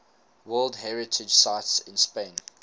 world heritage sites in spain